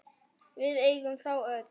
Við eigum þá öll.